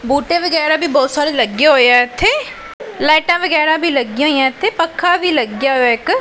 ਬੂਟੇ ਵਗੈਰੇ ਵੀ ਬਹੁਤ ਸਾਰੇ ਲੱਗੇ ਹੋਏ ਆ ਇੱਥੇ ਲਾਈਟਾਂ ਵਗੈਰਾ ਵੀ ਲੱਗੀਆਂ ਹੋਈਆਂ ਇਥੇ ਪੱਖਾ ਵੀ ਲੱਗਿਆ ਹੋਇਆ ਇੱਕ।